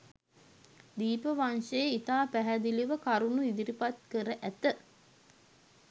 දීපවංශය ඉතා පැහැදිළිව කරුණු ඉදිරිපත් කර ඇත.